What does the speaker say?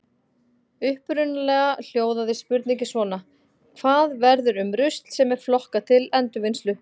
Upprunalega hljóðaði spurningin svona: Hvað verður um rusl sem er flokkað til endurvinnslu?